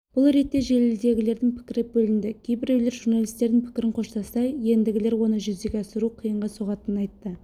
бұл ретте желідегілердің пікірі бөлінді кейбіреулер журналистің пікірін қоштаса ендігілер оны жүзеге асыру қиынға соғатынын айтты